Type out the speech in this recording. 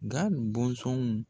Nga bɔnsɔnw